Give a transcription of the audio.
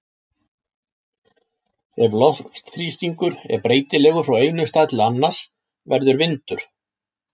Ef loftþrýstingur er breytilegur frá einum stað til annars verður vindur.